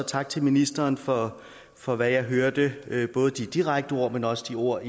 tak til ministeren for for hvad jeg hørte både de direkte ord men også de ord